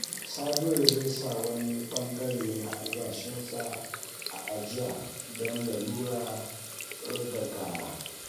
Sabiru zai sa wani ɓangare na albashinsa a ajiya don lalurar gaggawa.